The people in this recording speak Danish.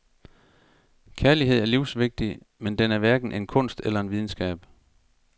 Kærlighed er livsvigtig, men den er hverken en kunst eller en videnskab.